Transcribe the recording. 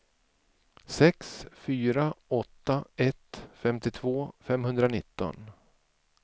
sex fyra åtta ett femtiotvå femhundranitton